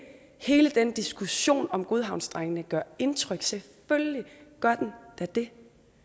hele den diskussion om godhavnsdrengene gør indtryk selvfølgelig gør den da det